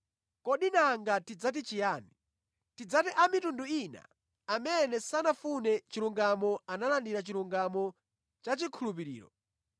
Kodi nanga tidzati chiyani? Tidzati a mitundu ina amene sanafune chilungamo analandira chilungamo chachikhulupiriro